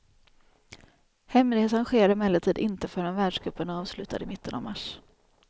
Hemresan sker emellertid inte förrän världscupen är avslutad i mitten av mars.